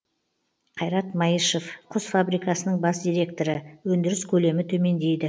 қайрат маишев құс фабрикасының бас директоры өндіріс көлемі төмендейді